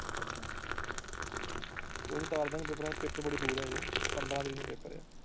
ਕੋਈ ਨਹੀਂ ਤਾਰ ਦਾ ਗਏ ਪੇਪਰਾਂ ਪੇਪਰ ਬੜੀ ਦੂਰ ਹੈ ਹਾਜੇ ਪੰਦਰਾਂ ਤਾਰੀਕ ਨੂੰ ਪੇਪਰ ਹੈ।